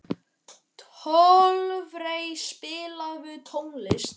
Torfey, spilaðu tónlist.